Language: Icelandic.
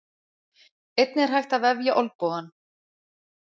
Einnig er hægt að vefja olnbogann.